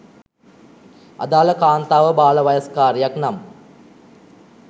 අදාළ කාන්තාව බාලවයස්කාරියක් නම්